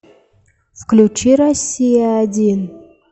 включи россия один